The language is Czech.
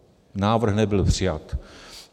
Návrh nebyl přijat.